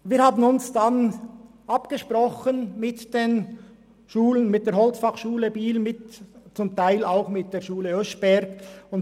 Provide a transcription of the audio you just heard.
Wir haben uns mit der HF Holz in Biel und zum Teil auch mit der Schule Oeschberg abgesprochen.